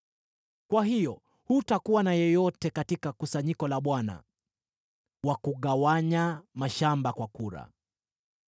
Kwa hiyo hutakuwa na yeyote katika kusanyiko la Bwana wa kugawanya mashamba kwa kura.